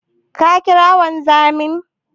Ka ƙira wanzamin?